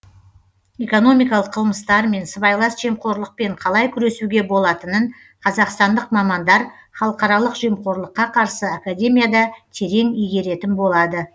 экономикалық қылмыстармен сыбайлас жемқорлықпен қалай күресуге болатынын қазақстандық мамандар халықаралық жемқорлыққа қарсы академияда терең игеретін болады